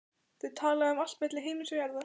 Þau tala um allt milli himins og jarðar.